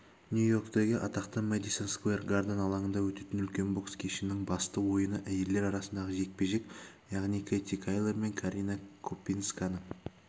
нью-йорктегі атақты мэдисон сквер гарден алаңында өтетін үлкен бокс кешінің басты ойыны әйелдер арасындағы жекпе-жек яғни кэти тэйлор мен карина копинсканың